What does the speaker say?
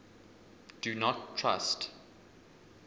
do not trust